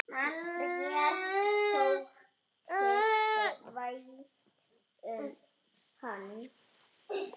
Mér þótti vænt um hann.